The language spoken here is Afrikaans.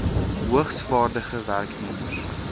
hoogs vaardige werknemers